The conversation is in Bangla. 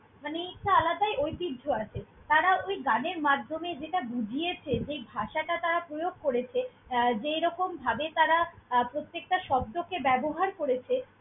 মানে একটা আলাদাই ঐতিহ্য আছে। তারা ওই গানের মাধ্যমে যেটা বুঝিয়েছে, যেই ভাষাটা তারা প্রয়োগ করেছে আহ যেই রকমভাবে তারা আহ প্রতেকটা শব্দকে ব্যবহার করেছে।